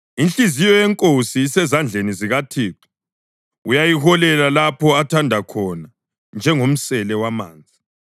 Inhliziyo yenkosi isezandleni zikaThixo, uyiholela lapho athanda khona njengomsele wamanzi.